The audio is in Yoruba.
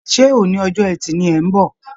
Ṣé oní ọjọ́ ẹti ni ẹ̀ ń bọ̀?